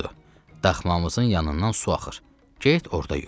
"Budur, daxmamızın yanından su axır, get orda yu."